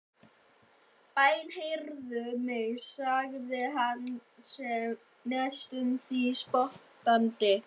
Bænheyrðu mig, sagði hann næstum því spottandi.